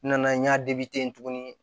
N nana n y'a depi tuguni